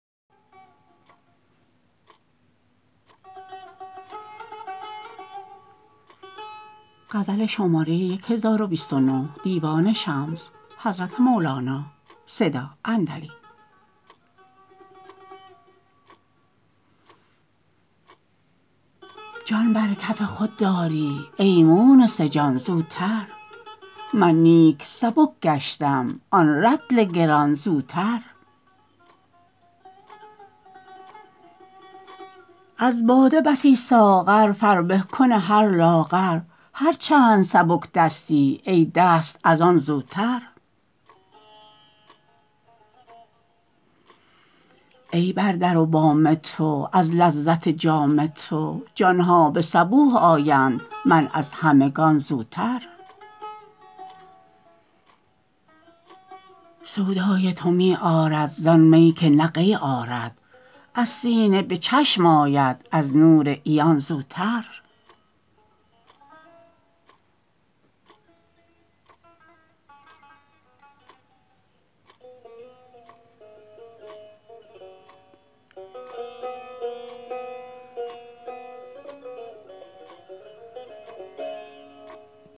جان بر کف خود داری ای مونس جان زوتر من نیک سبک گشتم آن رطل گران زوتر از باده بسی ساغر فربه کن هر لاغر هر چند سبک دستی ای دوست از آن زوتر ای بر در و بام تو از لذت جام تو جان ها به صبوح آیند من از همگان زوتر سودای تو می آرد زان می که نه قی آرد از سینه به چشم آید از نور عیان زوتر